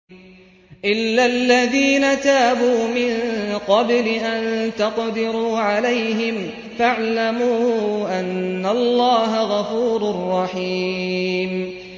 إِلَّا الَّذِينَ تَابُوا مِن قَبْلِ أَن تَقْدِرُوا عَلَيْهِمْ ۖ فَاعْلَمُوا أَنَّ اللَّهَ غَفُورٌ رَّحِيمٌ